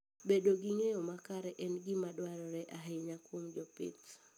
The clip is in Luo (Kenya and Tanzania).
Bedo gi ng'eyo makare en gima dwarore ahinya kuom jopith.